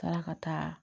Taara ka taa